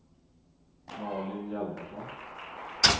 Malin Hjalmarsson